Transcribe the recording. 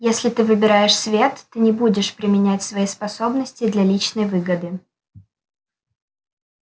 если ты выбираешь свет ты не будешь применять свои способности для личной выгоды